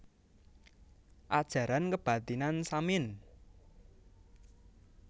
Ajaran Kebathinan Samin